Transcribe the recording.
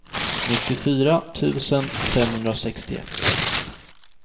nittiofyra tusen femhundrasextioett